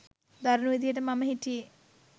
දරුණු විදිහට මම හිටියේ.